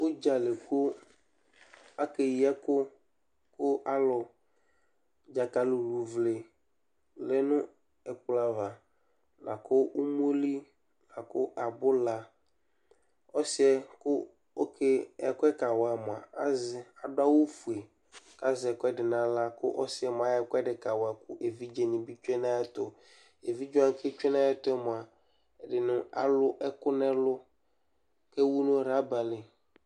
Ʋdza li kʋ akeyi ɛkʋ kʋ alʋ, dzakalɩluvle lɛ nʋ ɛkplɔ ava la kʋ umoli la kʋ abʋla Ɔsɩ yɛ kʋ ɔke ɛkʋ yɛ kawa mʋa, azɛ adʋ awʋfue kʋ azɛ ɛkʋɛdɩ nʋ aɣla kʋ ɔsɩ mʋa ayɔ ɛkʋɛdɩ kawa kʋ evidzenɩ bɩ tsue nʋ ayɛtʋ Evidze wanɩ kʋ atsue nʋ ayɛtʋ yɛ mʋa, ɛdɩnɩ alʋ ɛkʋ nʋ ɛlʋ kʋ ewu nʋ raba li